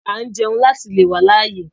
À ń jẹun láti le wá láyé